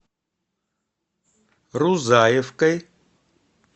рузаевкой